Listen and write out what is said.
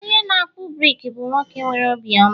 onye na-akpụ brik bụ nwoke nwere obiọma